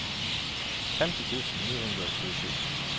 femti tusen ni hundre og tjuesju